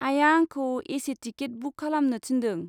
आइआ आंखौ AC. Ticket book खालामनो थिन्दों।